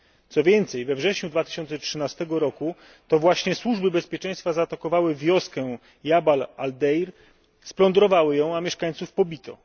Co więcej we wrześniu 2013 r. to właśnie służby bezpieczeństwa zaatakowały wioskę Jabal Al Deir, splądrowały ją, a mieszkańców pobito.